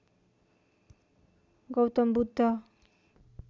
Gautam Buddha